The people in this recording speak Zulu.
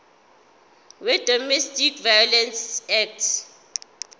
wedomestic violence act